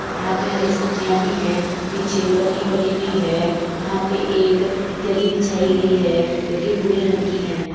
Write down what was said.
यहाँ पे हरी सब्जियाँ भी हैं पीछे पल्ली पड़ी हुई है यहाँ पे एक दरी बिछाई गयी है जो कि भूरे रंग की है।